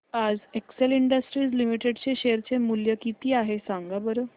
आज Excel Industries Limited चे share चे मूल्य किती आहे सांगा बरं